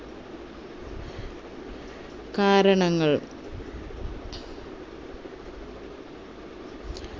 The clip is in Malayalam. കാരണങ്ങൾ